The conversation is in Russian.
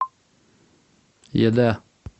еда